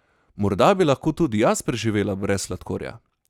Morda bi lahko tudi jaz preživela brez sladkorja!